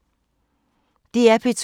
DR P2